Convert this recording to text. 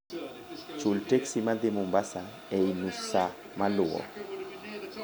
chul teksi madhi Mombasa ei nus saa maluwo